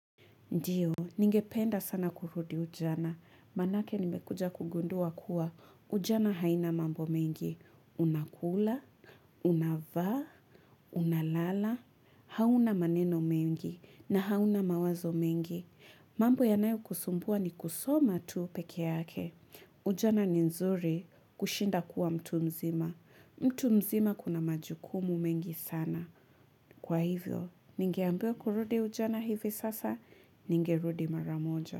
Ndiyo, ningependa sana kurudi ujana, manake nimekuja kugundua kuwa, ujana haina mambo mengi, unakula, unavaa, unalala, hauna maneno mengi, na hauna mawazo mengi. Mambo yanayokusumbua ni kusoma tuu peke yake, ujana ni nzuri kushinda kuwa mtu mzima, mtu mzima kuna majukumu mengi sana. Kwa hivyo, ningeambiwa kurudi ujana hivi sasa, ningerudi mara moja.